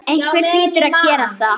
Einhver hlýtur að gera það.